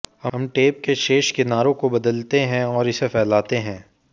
हम टेप के शेष किनारे को बदलते हैं और इसे फैलाते हैं